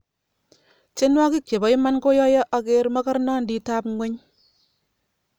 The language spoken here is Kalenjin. tienwokik chepo iman koyoyo aker makarnandit ap ngueny